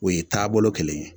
O ye taabolo kelen ye